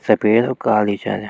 सफेद और काली छन या।